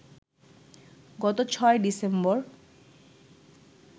গত ৬ ডিসেম্বর